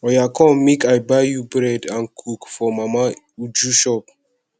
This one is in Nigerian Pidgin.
oya come make i buy you bread and coke for mama uju shop